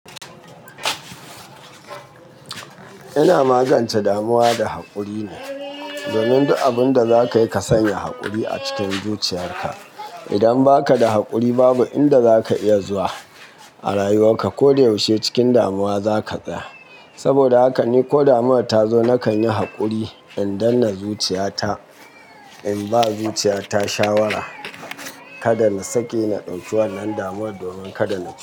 Ina magance damuwa da haƙuri ne. Domin duk abin da zaka yi ka sanya haƙuri a cikin zuciyarka. Idan baka da haƙuri babu inda zaka iya zuwa a rayuwarka. Ko da yaushe cikin damuwa za ka tsaya. Saboda haka ni ko damuwa ta zo nakan yi haƙuri in danna zuciya ta. In ba zuciya ta shawara, kada na sake na ɗauki wannan damuwar domin kada na tsaya.